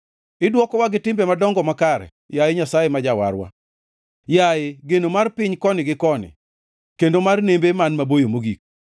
Idwokowa gi timbe madongo makare, yaye Nyasaye ma Jawarwa, yaye geno mar piny koni gi koni kendo mar nembe man maboyo mogik,